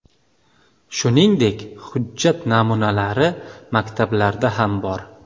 Shuningdek, hujjat namunalari maktablarda ham bor.